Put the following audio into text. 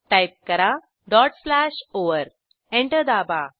type करा dot slash over enter दाबा